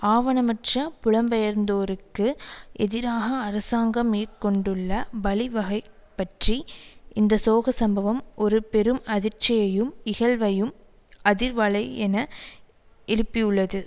ஆவணமற்ற புலம்பெயர்ந்தோருக்கு எதிராக அரசாங்கம் மேற்கொண்டுள்ள வழிவகை பற்றி இந்த சோக சம்பவம் ஒரு பெரும் அதிர்ச்சியையும் இகழ்வையும் அதிர்வலையென எழுப்பியுள்ளது